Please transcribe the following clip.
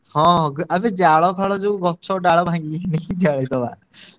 ହଁ ଆବେ ଜାଳଫାଳ ଯୋଉ ଗ~ ଛ~ ଡାଳ ଭାଙ୍ଗିକି ନେଇ ଜାଳିଦବା।